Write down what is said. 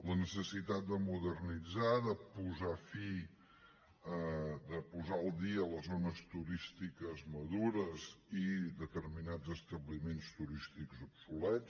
la necessitat de modernitzar de posar al dia les zones turístiques madures i determinats establiments turístics obsolets